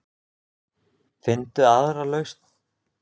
Finndu aðra lausn.